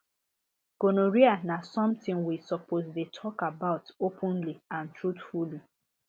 gonorrhea na something we suppose dey talk about openly and truthfully